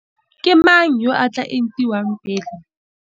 Ke mang yo a tla entiwang pele?